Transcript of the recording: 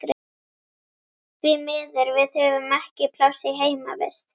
Því miður, við höfum ekki pláss í heimavist.